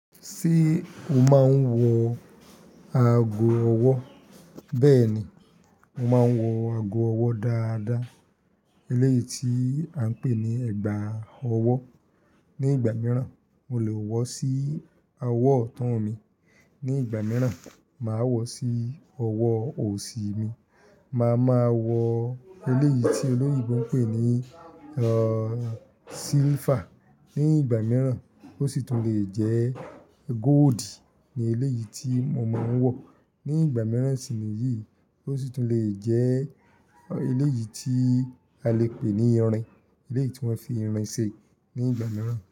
Ṣé o máa ń wọ ago ọwọ́? Bẹ́ẹ̀ ni, mo máa ń wọ ago ọwọ́ dáadáa, eléyìí tí a ń pè ní ẹ̀gbà ọwọ́. Ní ìgbà mìíràn, mo lè wọ sí awọ ọ̀tọ̀ mi, ní ìgbà mìíràn, mà a wọ sí ọwọ òsì mi. Mà a máa wọ eléyìí tí olóyèbo ń pè ní, ehn, silver. Ní ìgbà mìíràn ó sì tún lè jẹ́ gold ni eléyìí tí mo mọ̀ ń wọ̀. Ní ìgbà mìíràn sì ni yìí ó sì tún lè jẹ́ eléyìí tí a lè pè ní irin, eléyìí tí wọ́n fi irin ṣe ní ìgbà mìíràn.